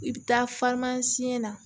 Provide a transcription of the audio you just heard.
I bɛ taa na